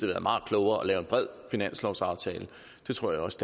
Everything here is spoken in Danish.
været meget klogere at lave en bred finanslovsaftale og det tror jeg også